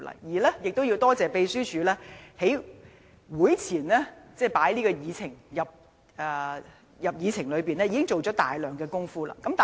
我們也要多謝秘書處在這項議案獲列入議程前，已經做了大量工夫。